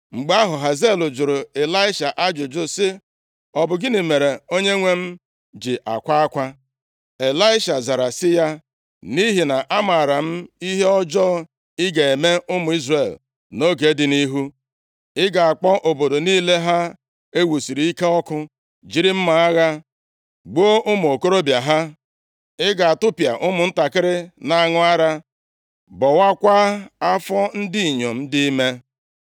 Mgbe ahụ, Hazael jụrụ Ịlaisha ajụjụ sị, “Ọ bụ gịnị mere onyenwe m ji akwa akwa?” Ịlaisha zara sị ya, “Nʼihi na amaara m ihe ọjọọ ị ga-eme ụmụ Izrel nʼoge dị nʼihu. Ị ga-akpọ obodo niile ha e wusiri ike ọkụ, jiri mma agha gbuo ụmụ okorobịa ha. Ị ga-atụpịa ụmụntakịrị na-aṅụ ara, bọwakwaa afọ ndị inyom dị ime.”